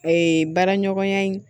Ee baara ɲɔgɔnya in